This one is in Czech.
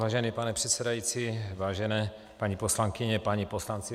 Vážený pane předsedající, vážené paní poslankyně, páni poslanci.